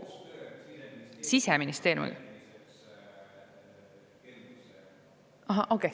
Siseministeeriumil?